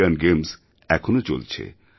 Asian Games এখনও চলছে